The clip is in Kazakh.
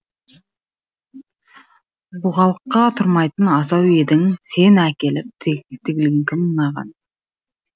бұғалыққа тұрмайтын асау едің сені әкеліп теліген кім мынаған